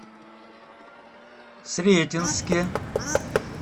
сретенске